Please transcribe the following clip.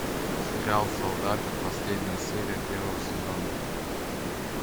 сериал солдаты последняя серия первого сезона